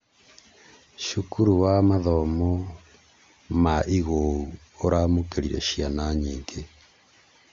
Cukuru wa mathomo ma igũũu ũramũkĩrire ciana nyingĩ